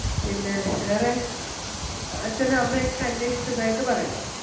പിന്നെ വേറെ അച്ഛനേം അമ്മയേം ഒക്കെ അന്വേഷിച്ചതായിട്ട് പറയണം.